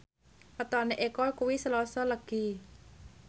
wetone Eko kuwi Selasa Legi